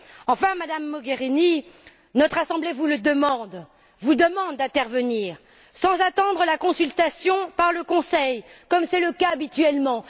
Enfin, Madame Mogherini, notre Assemblée vous demande d'intervenir sans attendre la consultation par le Conseil, comme c'est le cas habituellement.